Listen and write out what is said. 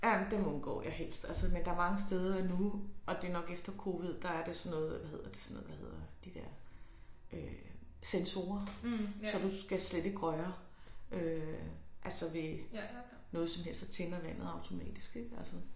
Ja ja men dem undgår jeg helst altså men der er mange steder nu og det er nok efter covid der er det sådan noget hvad hedder sådan noget hvad hedder de der øh sensorer så du skal slet ikke røre øh altså ved noget som helst ik så tænder vandet automatisk ik altså